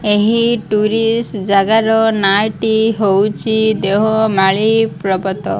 ଏହି ଟୁରିଷ୍ଟ ଜାଗାର ନାଁ ଟି ହଉଚି ଦେଓମାଳି ପର୍ବତ।